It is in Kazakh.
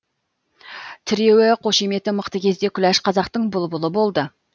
тіреуі қошеметі мықты кезде күләш қазақтың бұлбұлы болды